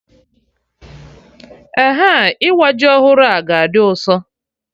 Eh, ịwa ji ọhụrụ a ga-dị ụsọ